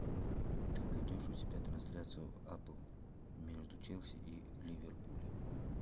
ты найдешь у себя трансляцию апл между челси и ливерпулем